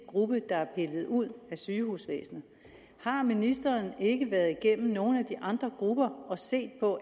gruppe der er pillet ud af sygehusvæsenet har ministeren ikke været igennem nogle af de andre grupper og set på